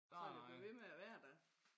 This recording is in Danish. Sådan det bliver ved med at være der